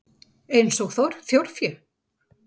Eins og þjórfé?